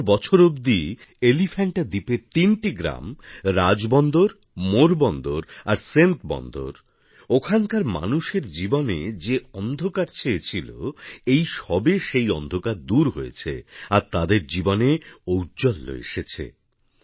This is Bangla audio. সত্তর বছর অবধি এলিফ্যান্টা দ্বীপের তিনটি গ্রাম রাজবন্দর মোরবন্দর আর সেন্তবন্দর ওখানকার মানুষের জীবনে যে অন্ধকার ছেয়ে ছিল এই সবে সেই অন্ধকার দূর হয়েছে আর তাদের জীবনে ঔজ্জ্বল্য এসেছে